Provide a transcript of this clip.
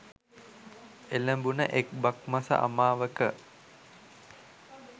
එළඹුන එක් බක් මස අමාවක